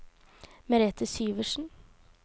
Merethe Syversen